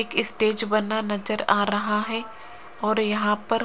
एक स्टेज बना नजर आ रहा है और यहाँ पर --